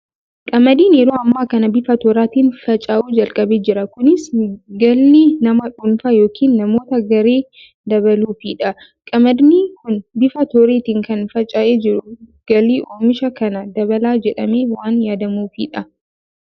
Qamadiin yeroo ammaa kana bifa tooraatiin faca'uu jalqabee jira. Kunis galii nama dhuunfaa yookiin namoota garee dabaluufidha. Qamadiin kun bifa tooreetiin kan faca'ee jiru, galii oomisha kanaa dabala jedhamee waan yaadamuufidha.